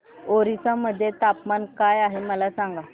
ओरिसा मध्ये तापमान काय आहे मला सांगा